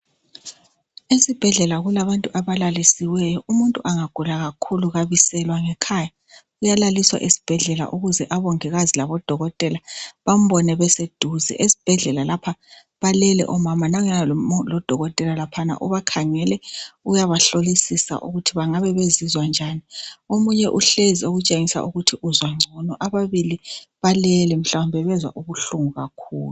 esibhedlela kulabantu abalalisiweyo umuntu engagula kakhulu kabiselwa ngekhaya uyalaliswa esibhedlela ukuze omongikazi labo dokotela bambone beseduze esibhedlela lapha balele omama nanguyana lodokotela lapahana ubakhangele uyabahlolisisa ukuthi bengabe bezizwa njalo omunye uhlezi okutshwengisela ukuthi uzizwa ngcono abanye balale mhlawumbe nbazwa ubuhlungu kakhulu